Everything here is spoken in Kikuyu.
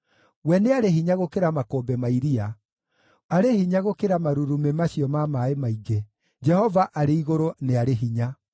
We nĩarĩ hinya gũkĩra makũmbĩ ma iria, arĩ hinya gũkĩra marurumĩ macio ma maaĩ maingĩ, Jehova arĩ igũrũ nĩ arĩ hinya.